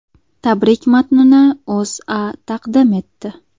Tabrik matnini O‘zA taqdim etdi .